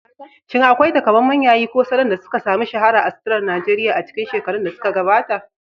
Shin akwai taƙamaiman yayi ko salon da suka sami shahara a suturar Najeriya a cikin shekarun da suka gabata?